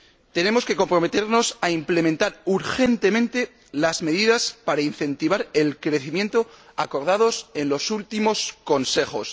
Tenemos que comprometernos a implementar urgentemente las medidas para incentivar el crecimiento acordadas en los últimos Consejos.